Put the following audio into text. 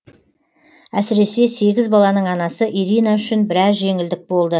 әсіресе сегіз баланың анасы ирина үшін біраз жеңілдік болды